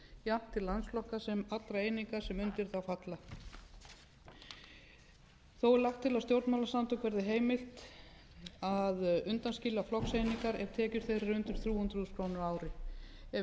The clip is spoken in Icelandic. jafnt til landsflokka sem og allra eininga sem undir þá falla þó er lagt til að stjórnmálasamtökum verði heimilt að undanskilja flokkseiningar ef tekur þeirra eru undir þrjú hundruð þúsund krónur a ári ef